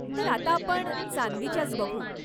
तर आता आपण चांदीच्याच बघू.